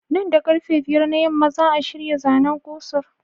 Da karfe 5 na yamma za'a shirya zanen ku Sir